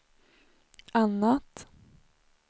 annat